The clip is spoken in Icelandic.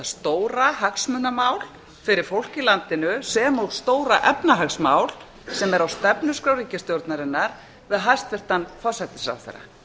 stóra hagsmunamál fyrir fólk í landinu sem og stóra efnahagsmál sem er á stefnuskrá ríkisstjórnarinnar við hæstvirtan forsætisráðherra